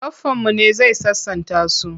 Baffanmu ne zai sasanta su.